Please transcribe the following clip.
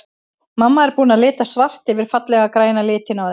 Mamma er búin að lita svart yfir fallega græna litinn á þeim.